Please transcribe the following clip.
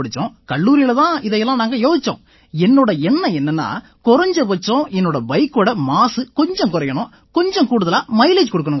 கல்லூரியில தான் இதையெல்லாம் நாங்க யோசிச்சோம் என்னோட எண்ணம் என்னென்னா குறைஞ்சபட்சம் என்னோட பைக்கோட மாசு கொஞ்சம் குறையணும் கொஞ்சம் கூடுதலா மைலேஜ் கொடுக்கணும்ங்கறது தான்